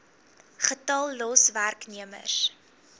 getal los werknemers